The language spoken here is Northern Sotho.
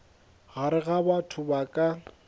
gare ga batho ba ka